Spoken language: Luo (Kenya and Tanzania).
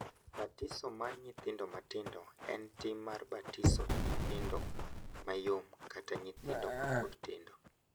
Batiso mar nyithindo matindo en tim mar batiso nyithindo mayom kata nyithindo mapod tindo.